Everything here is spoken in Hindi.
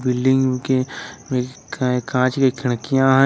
बिल्डिंग के कांच की खिड़कियां है।